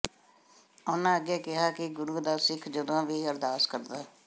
ਉਹਨਾਂ ਅੱਗੇ ਕਿਹਾ ਕਿ ਗੁਰੂ ਦਾ ਸਿੱਖ ਜਦੋਂ ਵੀ ਅਰਦਾਸ ਕਰਦਾ